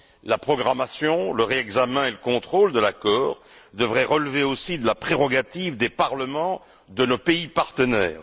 La programmation, le réexamen et le contrôle de l'accord devraient dès lors relever aussi de la prérogative des parlements de nos pays partenaires.